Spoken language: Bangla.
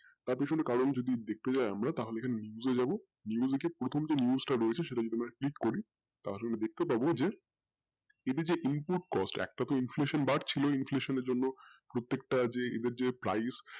তার পেছনে কারণ দেখতে যাই আমরা তাহলে বুজে নিবো যে প্রথম যে rules টা রয়েছে যদি আমরা lead করি তাহলে সে টা কে আমার দেখতে পাবো যে input cost একটা তো iflation বাড়ছিল inflation এর জন্য প্রত্যেকটা যে price যে